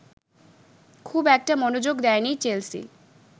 খুব একটা মনোযোগ দেয়নি চেলসি